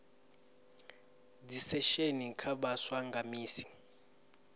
dzisesheni kha vhaswa nga misi